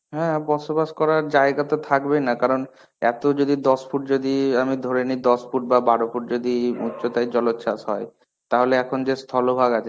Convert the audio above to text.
হ্যাঁ, বসবাস করার জায়গা তো থাকবে না কারণ, এত যদি দশ ফুট যদি, আমি ধরে নি দশ ফুট বা বারো ফুট যদি উছতায় জলচ্ছাস হয়, তাহলে এখন যে স্থলভাগ আছে,